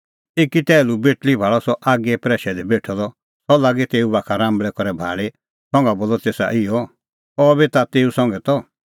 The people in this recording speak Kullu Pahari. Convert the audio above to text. एकी टैहलू बेटल़ी भाल़अ सह आगीए प्रैशै दी बेठअ द सह लागी तेऊ बाखा राम्बल़ै करै भाल़ी संघा बोलअ तेसा इहअ अह बी ता तेऊ संघै त